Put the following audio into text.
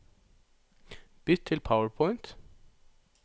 Bytt til PowerPoint